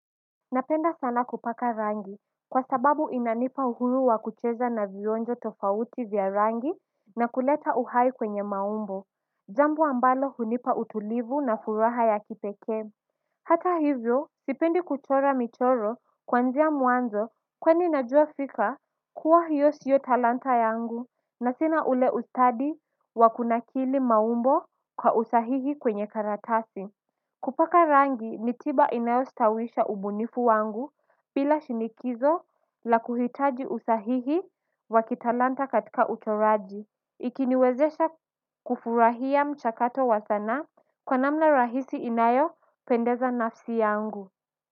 Napenda sana kupaka rangi kwa sababu inanipa uhuru wa kucheza na vionjo tofauti vya rangi na kuleta uhai kwenye maumbo jambo ambalo hunipa utulivu na furaha ya kipeke. Hata hivyo sipendi kuchora michoro kwanzia muanzo kwani najua fika kuwa hiyo siyo talanta yangu na sina ule ustadi wa kunakili maumbo kwa usahihi kwenye karatasi. Kupaka rangi nitiba inayo stawisha ubunifu wangu pila shinikizo la kuhitaji usahihi wa kitalanta katika utoraji. Ikiniwezesha kufurahia mchakato wa sana kwa namna rahisi inayo pendeza nafsi yangu.